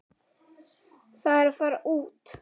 Einar: Það er að fara út.